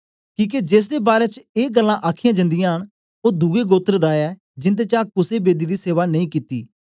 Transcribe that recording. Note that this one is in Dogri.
किके जेसदे बारै च ए गल्लां आखीयां जंदियां न ओ दुए गोत्र दा ऐ जिन्दे चा कुसे बेदी दी सेवा नेई कित्ती